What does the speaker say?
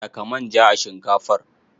Saka manja a shinkafar.